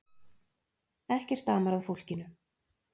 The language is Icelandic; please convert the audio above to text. Ekkert amar að fólkinu.